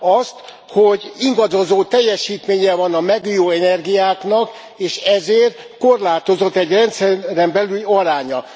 Azt, hogy ingadozó teljesítménye van a megújuló energiáknak, és ezért korlátozott egy rendszeren belüli aránya.